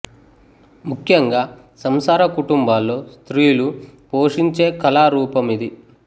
ముఖ్యంగా సంసార కుటుంబాల్లో స్త్రీలు పోషించే కళా రూప మిది